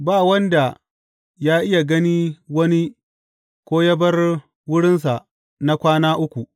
Ba wanda ya iya gani wani ko yă bar wurinsa na kwana uku.